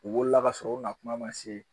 U wolola ka sɔrɔ u ma kuma ma se